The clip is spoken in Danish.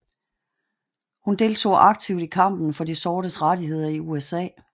Hun deltog aktivt i kampen for de sortes rettigheder i USA